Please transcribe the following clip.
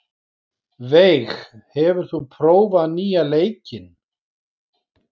Veig, hefur þú prófað nýja leikinn?